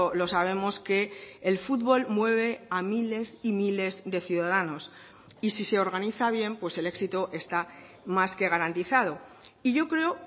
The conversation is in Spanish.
lo sabemos que el futbol mueve a miles y miles de ciudadanos y si se organiza bien el éxito está más que garantizado y yo creo